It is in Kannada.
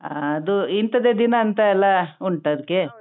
ಹಾ ಅದು ಇಂತದ ದಿನಂತ ಎಲ್ಲಾ ಉಂಟಾ ಅದ್ಕೆ.